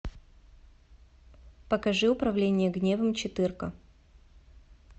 покажи управление гневом четырка